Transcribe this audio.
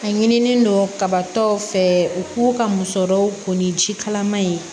A ɲinilen don kaba taw fɛ u k'u ka musɔrɔw ko ni ji kalaman ye